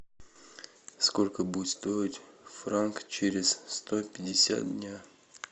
сколько будет стоить франк через сто пятьдесят дня